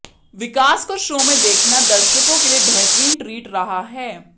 विकास को शो में देखना दर्शकों के लिए बेहतरीन ट्रीट रहा है